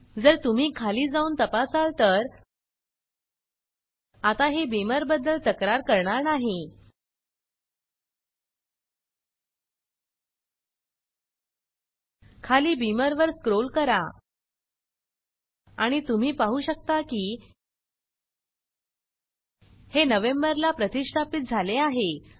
जर तुम्ही खाली जाऊन तपासाल तर आता हे बीमर बदद्ल तक्रार करणार नाही खाली बीमर वर स्क्रोल करा आणि तुम्ही पाहु शकता की हे नवेंबर ला प्रतिष्ठापीत झाले आहे